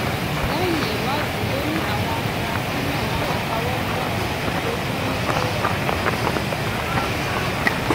lẹyìn ìwádìí ló ní àwọn afurasí náà yóò káwọ pọnyìn rojọ ní kóòtù